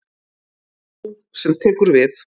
Sú sem tekur við.